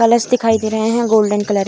college दिखाई दे रहे हैं गोल्डन कलर --